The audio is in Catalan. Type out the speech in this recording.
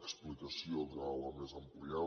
explicació durant la mesa ampliada